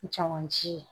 Caman ci